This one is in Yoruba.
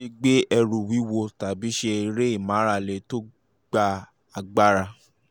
má ṣe gbé ẹrù wíwúwo tàbí ṣe eré ìmárale tó gba um agbára